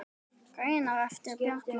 Greinar eftir Bjarna